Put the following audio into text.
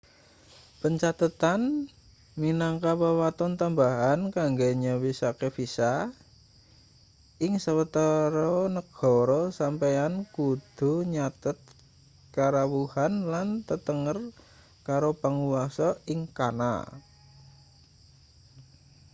pancathetan minangka wewaton tambahan kanggo nyawisake visa ing sawetara negara sampeyan kudu nyathet karawuhan lan tetenger karo panguwasa ing kana